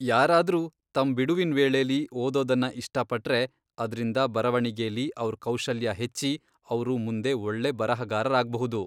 ಯಾರಾದ್ರೂ ತಮ್ ಬಿಡುವಿನ್ ವೇಳೆಲಿ ಓದೋದನ್ನ ಇಷ್ಟಪಟ್ರೆ, ಅದ್ರಿಂದ ಬರವಣಿಗೆಲಿ ಅವ್ರ್ ಕೌಶಲ್ಯ ಹೆಚ್ಚಿ ಅವ್ರು ಮುಂದೆ ಒಳ್ಳೆ ಬರಹಗಾರರಾಗ್ಬಹುದು.